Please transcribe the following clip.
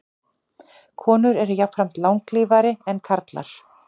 Konur eru jafnframt langlífari en karlar.